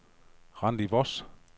Randi Voss